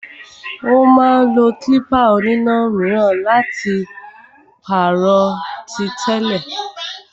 Ó máa lo klípà oníná míràn láti pàrọ̀ tí tẹ́lẹ̀.